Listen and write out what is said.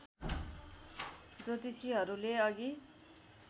ज्योतिषीहरूले अघि